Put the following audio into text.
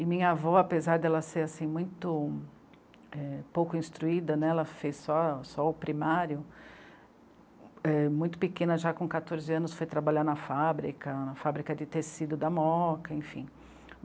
E minha avó, apesar de ela ser muito ...é pouco instruída né, ela fez só, só o primário ...é muito pequena, já com quatorze anos foi trabalhar na fábrica, na fábrica de tecido da moca, enfim.